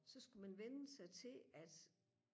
så skulle man vænne sig til at